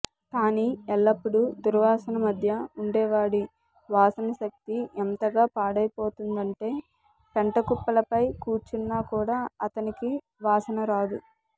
కానీ ఎల్లప్పుడూ దుర్వాసన మధ్య ఉండేవాడి వాసనశక్తి ఎంతగా పాడయిపోతుందంటే పెంటకుప్పలపై కూర్చున్నా కూడా అతనికి వాసనరాదు